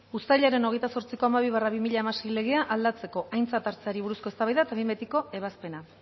uztailaren hogeita zortziko hamabi barra bi mila hamasei legea aldatzeko aintzat hartzeari buruzko eztabaida eta behin betiko ebazpena